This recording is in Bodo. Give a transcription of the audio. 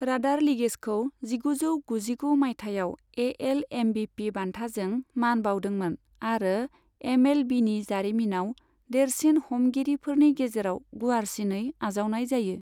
राडार लिगेजखौ जिगुजौ गुजिगु माइथायाव एएल एमबिपि बान्थाजों मान बाउदोंमोन आरो एमएलबीनि जारिमिनाव देरसिन हमगिरिफोरनि गेजेराव गुवारसिनै आजावनाय जायो।